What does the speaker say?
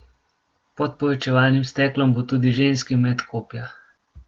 Pod povečevalnim steklom bo tudi ženski met kopja.